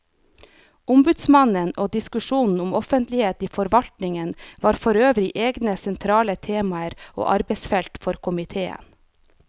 Ombudsmannen og diskusjonen om offentlighet i forvaltningen var forøvrig egne sentrale temaer og arbeidsfelt for komiteen.